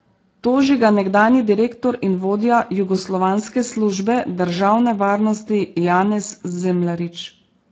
Toži ga nekdanji direktor in vodja jugoslovanske Službe državne varnosti Janez Zemljarič.